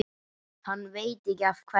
Hann veit ekki af hverju.